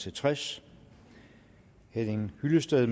og tres henning hyllested